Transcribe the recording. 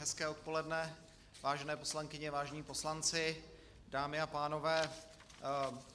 Hezké odpoledne, vážené poslankyně, vážení poslanci, dámy a pánové.